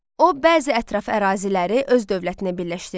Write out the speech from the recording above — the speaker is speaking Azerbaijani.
O, bəzi ətraf əraziləri öz dövlətinə birləşdirdi.